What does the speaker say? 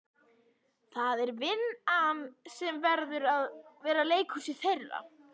Það er vinn- an sem verður að vera leikhúsið þeirra.